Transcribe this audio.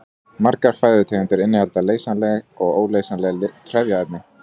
Margar fæðutegundir innihalda leysanleg og óleysanleg trefjaefni.